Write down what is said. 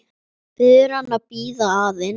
Biður hann að bíða aðeins.